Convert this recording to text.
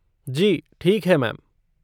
जी, ठीक है मैम।